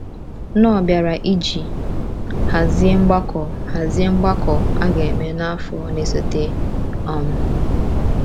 Knorr bịara iji hazie mgbakọ hazie mgbakọ a ga-eme n’afọ na-esote. um